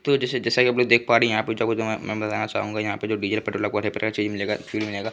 तो जैसे जैसा कि आप लोग देख पा रहे हैं यहाँ पे मैं के बताना चाहूँगा यहाँ पे जो --